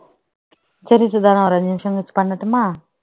சரி சுதா நான் ஒரு அஞ்சு நிமிஷம் கழிச்சு பண்ணட்டுமா